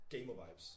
Gamervibes